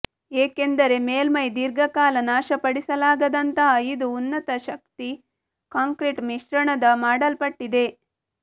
ಏಕೆಂದರೆ ಮೇಲ್ಮೈ ದೀರ್ಘಕಾಲ ನಾಶಪಡಿಸಲಾಗದಂತಹ ಇದು ಉನ್ನತ ಶಕ್ತಿ ಕಾಂಕ್ರೀಟ್ ಮಿಶ್ರಣದ ಮಾಡಲ್ಪಟ್ಟಿದೆ